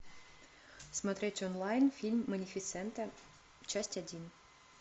смотреть онлайн фильм малефисента часть один